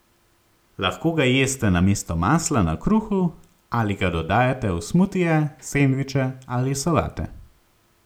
Lahko ga jeste namesto masla na kruhu ali ga dodajate v smutije, sendviče ali solate.